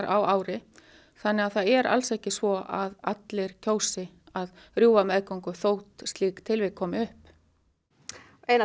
á ári þannig að það er alls ekki svo að allir kjósi að rjúfa meðgöngu þótt slík tilvik komi upp einar